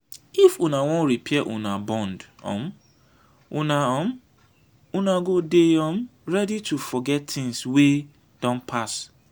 if una wan repair una bond um una um una go dey um ready to forget tins wey don pass.